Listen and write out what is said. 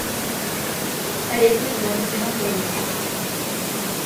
каретный двор где находится